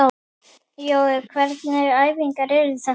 Jói, hvernig æfingar eru þetta?